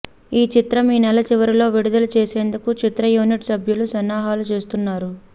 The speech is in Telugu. ఈ చిత్రం ఈ నెల చివరలో విడుదల చేసేందుకు చిత్ర యూనిట్ సభ్యులు సన్నాహాలు చేస్తున్నారు